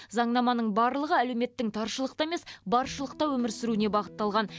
заңнаманың барлығы әлеуметтің таршылықта емес баршылықта өмір сүруіне бағытталған